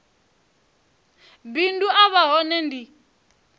bindu a vha hone ndi